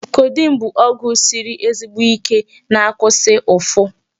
Codeine bụ ọgwụ siri ezigbo Ike na-akwụsị ụfụ.